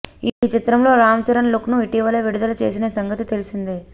ఈ చిత్రంలో రామ్చరణ్ లుక్ను ఇటివలే విడుదల చేసిన సంగతి తెలిసిందే